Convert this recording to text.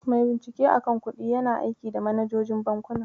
Mai bincike a kan kuɗi yana aiki da manajojin bankuna.